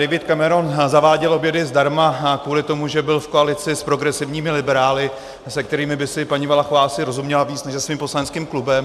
David Cameron zaváděl obědy zdarma kvůli tomu, že byl v koalici s progresivními liberály, se kterými by si paní Valachová asi rozuměla víc než se svým poslaneckým klubem.